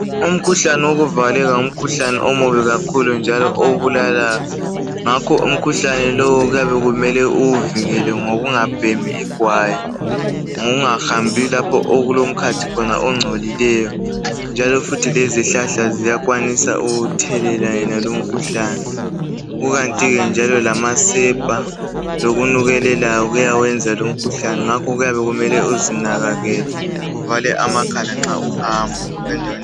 Umkhuhlane wokuvaleka ngumkhuhlane omubi kakhulu njalo obulalayo. Ngakho umkhuhlane lowu kuyabe kumele uwuvikele ngokungabhemi igwayi lokungahambi lapho okulomkhathi khona ongcolileyo njalo futhi lezihlahla ziyakwanisa ukuthelela wonalowo umkhuhlane kukantike njalo lamasepa lokunukelelayo kuyawenza lomkhuhlane ngakho kuyabe kumele kumele uzinakekele uvale amakhala nxa uhamba endaweni.